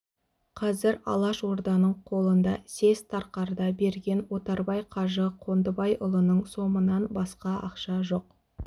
қазір алаш орданың қолында съезд тарқарда берген отарбай қажы қондыбайұлының сомынан басқа ақша жоқ